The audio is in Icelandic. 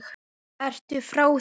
Ertu frá þér!